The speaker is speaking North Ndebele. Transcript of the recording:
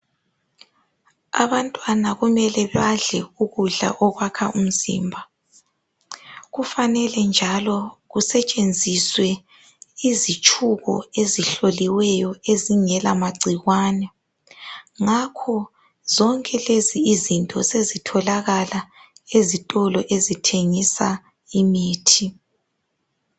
Abantwana kumele badle ukudla okwakha umzimba. Kufanele njalo kusetshenziswe izitshubo ezihloliweyo ezingela magcikwane ngakho zonke lezi izinto sezitholakala ezitolo ezithengisa imithi.